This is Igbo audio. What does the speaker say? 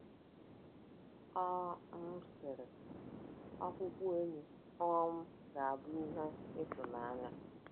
Ọ um sịrị, Ọkpụkpụ enyi um ga-abụ ihe ịtụnanya.